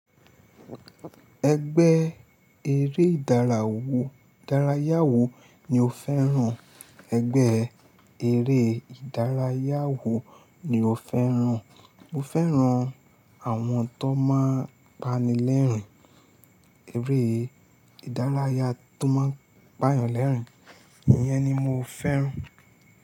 Ẹgbẹ́ eré ìdárayá wo ni o fẹ́ràn? Ẹgbẹ́ eré ìdárayá wo ni o fẹ́ràn? Mo fẹ́ràn àwọn tó máa ń pani lẹ́rìn-ín, eré ìdárayá tó máa ń pàyàn lẹ́rìn-ín, iyẹn ni mo fẹ́ràn.